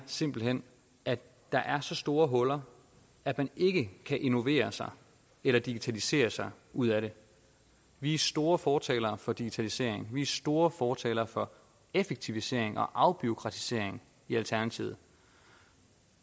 simpelt hen er at der er så store huller at man ikke kan innovere sig eller digitalisere sig ud af det vi er store fortalere for digitalisering vi er store fortalere for effektivisering og afbureaukratisering i alternativet